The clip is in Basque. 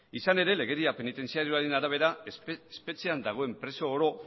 izan ere legedia penitentziarioaren arabera espetxean dagoen preso oro